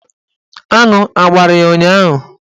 Aṅụ agbara ya ụnyaahụ?